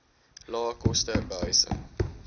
lae koste behuising